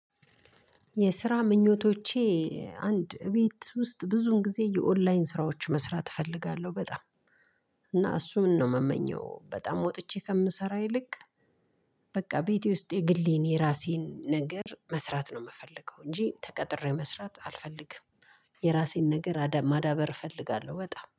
የስራ ምኞቶቼ። አንድ እቤት ውስጥ ብዙን ጊዜ የኦንላይን ስራዎች መስራት እፈልጋለሁ በጣም እና እሱን ነው የምመኘው በጣም ወጥቼ ከምሰራ ይልቅ። በቃ ቤቴ ውስጥ የግሌን የራሴን ነገር መስራት ነው የምፈልገው እንጂ ተቀጥሬ መስራት አልፈልግም። የራሴን ነገር ማዳበር እፈልጋለሁ በጣም